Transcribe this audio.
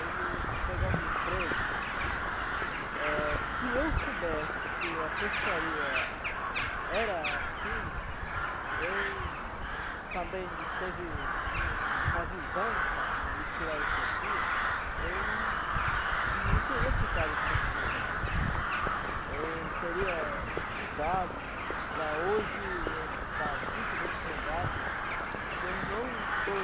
ele pegar um emprego, eh se eu soubesse que a pescaria era assim eu também não teve uma visão para para mim tirar isso aqui, eu não não teria ficado com essa profissão, eu teria estudado para hoje eu estar muito bem empregado, que eu não estou